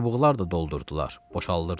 Çubuqlar da doldurdular, boşaldırdılar.